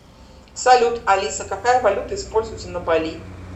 салют алиса какая валюта используется на бали